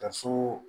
Ka so